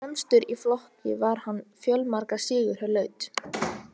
Fremstur í flokki var hann fjölmarga sigra hlaut.